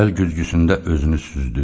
Əl güzgüsündə özünü süzdü.